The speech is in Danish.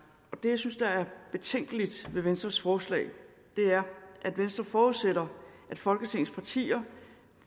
og det jeg synes er betænkeligt ved venstres forslag er at venstre forudsætter at folketingets partier